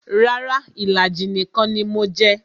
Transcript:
Rara, ìlàjì nìkan ni mo jẹ